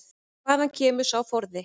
En hvaðan kemur sá forði?